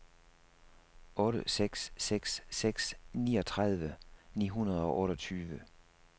otte seks seks seks niogtredive ni hundrede og otteogtyve